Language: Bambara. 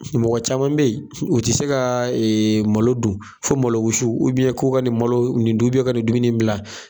Mɔgɔ caman be yen , u te se ka malo dun fo malo wusu ko ka ni malo in dun ko ka nin dumunin in gilan